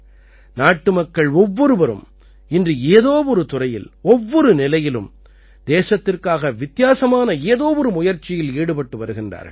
நாட்டுமக்கள் ஒவ்வொருவரும் இன்று ஏதோ ஒரு துறையில் ஒவ்வொரு நிலையிலும் தேசத்திற்காக வித்தியாசமான ஏதோ ஒரு முயற்சியில் ஈடுபட்டு வருகின்றார்கள்